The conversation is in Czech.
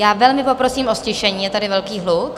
Já velmi poprosím o ztišení, je tady velký hluk.